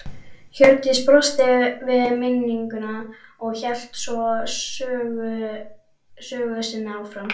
Hjördís brosti við minninguna og hélt svo sögu sinni áfram